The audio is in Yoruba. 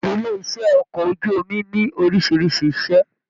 Ilé iṣẹ okọ̀ ojú omi ní orísìírísìí ise.